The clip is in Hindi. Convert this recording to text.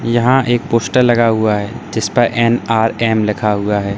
यहां एक पोस्टर लगा हुआ है जिस पर एन_आर_एम लिखा हुआ है।